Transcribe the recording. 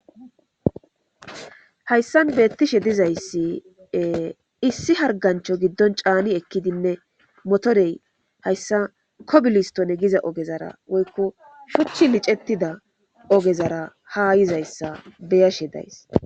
hayssan beettishe dizayssi issi hargancho giddon caani ekkidinne motorey hayssa kobilistone giza ogezara woykko shuchchi licettida ogezara ha yizayssa beyashe days